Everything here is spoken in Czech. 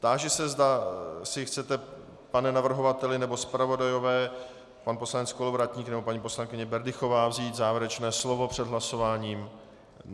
Táži se, zda si chcete, pane navrhovateli nebo zpravodajové, pan poslanec Kolovratník nebo paní poslankyně Berdychová, vzít závěrečné slovo před hlasováním.